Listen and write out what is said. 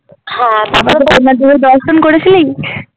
হ্যাঁ তারপরে জগন্নাথদেবের দর্শন করেছিলি?